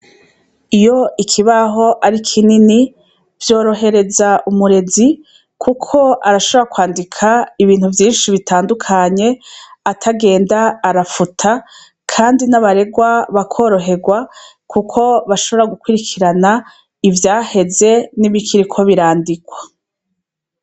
Iyo ikibaho ari kinini vyorohereza umurezi ,kuko arashobora kwandika ibintu vyinshi bitandukanye atagenda arafuta, kandi n'abaregwa bakoroherwa kuko bashobora gukwirikirana ,ivyaheze n'ibikiriko birandikwa.